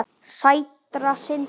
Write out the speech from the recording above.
Sætra synda.